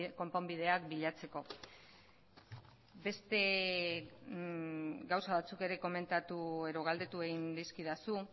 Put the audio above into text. konponbideak bilatzeko beste gauza batzuk ere komentatu edo galdetu egin dizkidazu